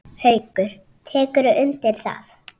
Haukur: Tekurðu undir það?